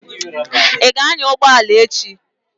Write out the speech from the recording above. Ị ga-anya ụgbọ ala echi?